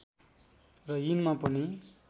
र यिनमा पनि